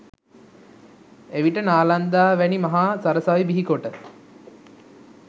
එවිට නාලන්දා වැනි මහා සරසවි බිහිකොට